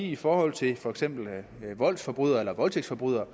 i forhold til for eksempel voldsforbrydere eller voldtægtsforbrydere